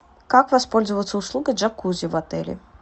как воспользоваться услугой джакузи в отеле